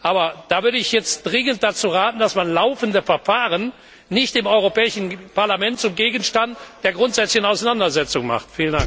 Aber ich würde jetzt dringend dazu raten, dass man laufende Verfahren nicht im Europäischen Parlament zum Gegenstand einer grundsätzlichen Auseinandersetzung macht.